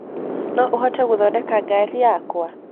No ũhote gũthodeka garĩ yakwa.